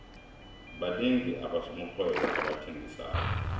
banengi abosomarhwebo abathengisako